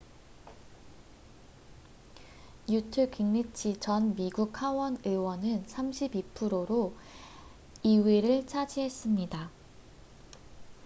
뉴트 깅리치 전 미국 하원 의원은 32%로 2위를 차지했습니다